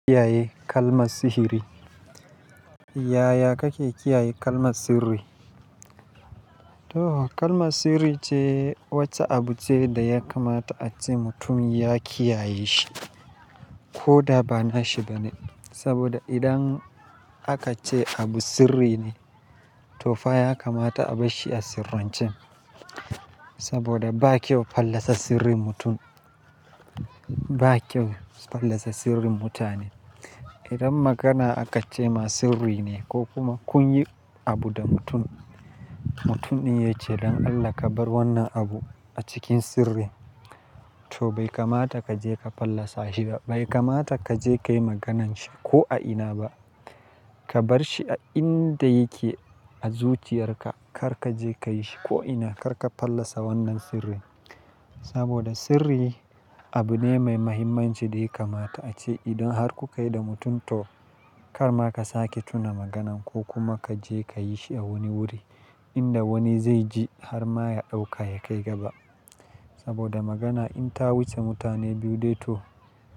Kiyaye kalma sihiri? Yaya kake kiyaye kalma sirri? To kalma sirri ce wacce abu ce da ya kamata ace mutum ya kiyaye shi ko da ba na shi bane. Saboda idan aka ce abu sirri ne to fa ya kamata a bar shi a sirrancin. Saboda ba kyau fallasa sirrin mutum, ba kyau fallasa sirrin mutane. Idan magana aka ce ma sirri ne ko kuma kun yi abu da mutum, mutum din ya ce don Allah ka bar wannan abu a cikin sirri to bai kamata ka je ka fallasa shi ba, bai kamata ka je ka yi maganar shi ko a ina ba. Ka bar shi a inda yake a zuciyarka kar ka je ka yi shi ko ina kar ka fallasa wannan sirri. Saboda sirri abu ne mai muhimmanci da ya kamata ace idan har kukai da mutum to kar ma ka sake tuna maganan ko kuma ka je ka yi shi a wani wuri inda wani zai ji har ma ya ɗauka ya kai gaba. Saboda magana in ta wuce mutane biyu dai to.